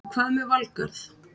En hvað með Valgarð?